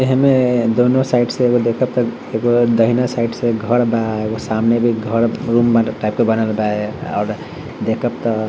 एमे दोनों साइड से एगो देख त एगो दहिना साइड से घर बा एगो सामने भी घर रूम टाइप के बनल बा और देख त --